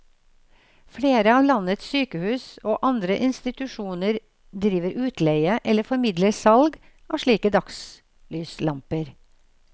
Flere av landets sykehus og andre institusjoner driver utleie eller formidler salg av slike dagslyslamper.